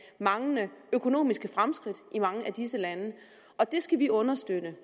manglende økonomiske fremskridt i mange af disse lande og det skal vi understøtte